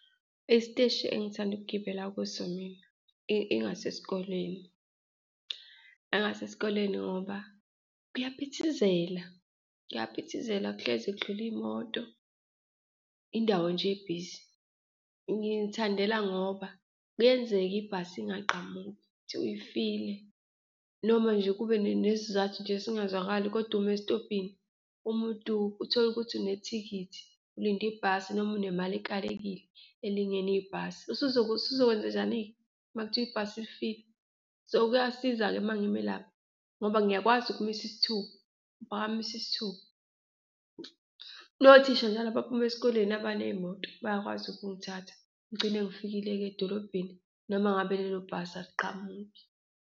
Isiteshi engithanda ukugibela kuso mina ingasesikoleni. Angangasesikoleni ngoba kuyaphithizela, kuyaphithizela kuhlezi kudlula iy'moto, indawo nje ebhizi. Ngiy'thandela ngoba kuyenzeka ibhasi ingaqhamuki, kuthiwa ifile noma nje kube nesizathu nje esingazwakali kodwa umi esitobhini, umuntu utholukuthi unethikithi, ulinde ibhasi noma unemali ekalekile, elingene ibhasi, uzokwenzenjani-ke uma kuthiwa ibhasi lifile? So kuyasiza-ke uma ngime lapha ngoba ngiyakwazi ukumisa isithupa, ngiphakamise isithupa. Nothisha njalo abaphuma esikoleni abaney'moto bayakwazi ukungithatha, ngigcine ngifikile-ke edolobheni noma ngabe lelo bhasi aliqhamuki.